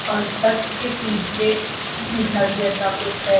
और चर्च के पीछे घर जैसा कुछ है।